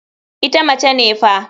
Ita mace ne fa.